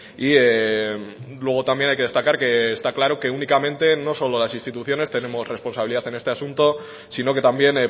y luego también hay que destacar que está claro que únicamente no solo las instituciones tenemos responsabilidad en este asunto sino que también